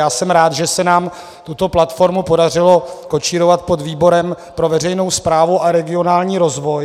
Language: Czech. Já jsem rád, že se nám tuto platformu podařilo kočírovat pod výborem pro veřejnou správu a regionální rozvoj.